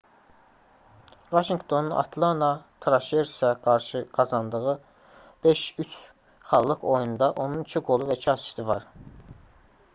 vaşinqtonun atlana traşersə qarşı qazandığı 5:3 xallıq oyunda onun 2 qolu və 2 asisti var